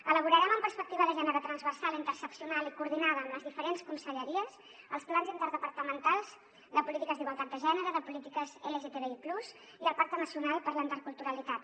elaborarem amb perspectiva de gènere transversal interseccional i coordinada amb les diferents conselleries els plans interdepartamentals de polítiques d’igualtat de gènere de polítiques lgtbi+ i el pacte nacional per a la interculturalitat